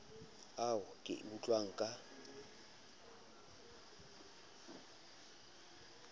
ao ke a utlwang ka